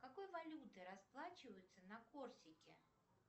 какой валютой расплачиваются на корсике